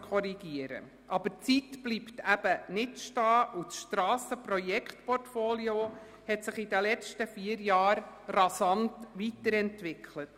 Allerdings bleibt die Zeit nicht stehen, und das Strassenprojektportfolio hat sich während der letzten vier Jahre rasant weiterentwickelt.